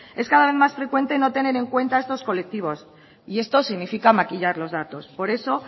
es cada vez más frecuente no tener en cuenta estos colectivos y esto significa maquillar los datos por eso